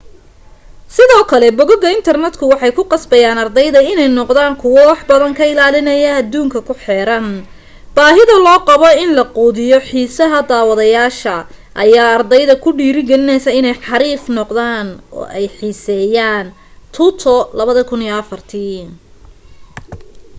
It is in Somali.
sidoo kale boggaga internetka’’ waxay kuqasbeyaan ardayda iney noqdaan kuwa wax badan ka ilaaliya adduunka kuxeeran.’’ baahida loo qabo in lagu quudiyo xiisaha daadwadayaasha ayaa ardayda kudhirigilisa iney xariif noqdaan oo ey xiiseyaantoto,2004